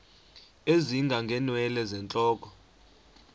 ezinga ngeenwele zentloko